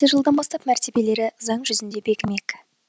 жылдан бастап мәртебелері заң жүзінде бекімек